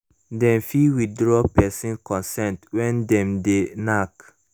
dem fit withdraw person consent when dem de knack